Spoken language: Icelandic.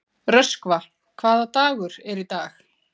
Röskva, hvaða dagur er í dag?